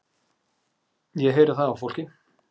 Ég heyri það á fólki.